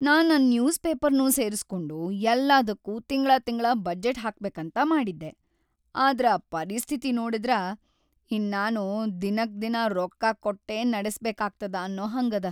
ನಾ ನನ್‌ ನ್ಯೂಸ್‌ ಪೇಪರ್ನೂ ಸೇರಿಸ್ಕೊಂಡು ಯಲ್ಲಾದಕ್ಕೂ ತಿಂಗ್ಳಾತಿಂಗ್ಳಾ ಬಜೆಟ್‌ ಹಾಕ್ಬೇಕಂತ ಮಾಡಿದ್ದೆ, ಆದ್ರ ಪರಿಸ್ಥಿತಿ ನೋಡಿದ್ರ ಇನ್ನಾನೂ ದಿನಕ್ದಿನಾ ರೊಕ್ಕ ಕೊಟ್ಟೇ ನಡಸ್ಬೇಕಾಗ್ತದ ಅನ್ನೋ ಹಂಗದ.